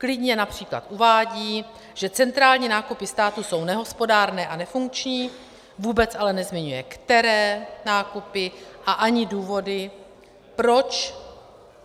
Klidně například uvádí, že centrální nákupy státu jsou nehospodárné a nefunkční, vůbec ale nezmiňuje, které nákupy a ani důvody proč.